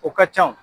O ka can